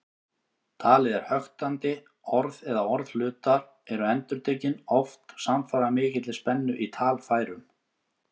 Talið er höktandi, orð eða orðhlutar eru endurtekin, oft samfara mikilli spennu í talfærum.